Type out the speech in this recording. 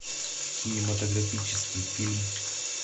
кинематографический фильм